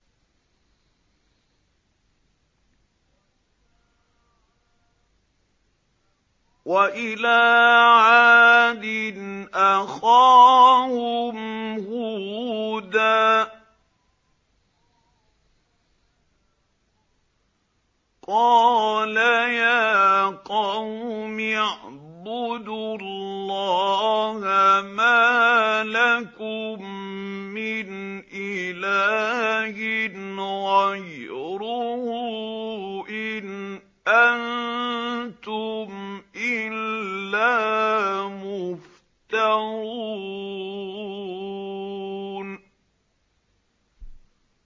وَإِلَىٰ عَادٍ أَخَاهُمْ هُودًا ۚ قَالَ يَا قَوْمِ اعْبُدُوا اللَّهَ مَا لَكُم مِّنْ إِلَٰهٍ غَيْرُهُ ۖ إِنْ أَنتُمْ إِلَّا مُفْتَرُونَ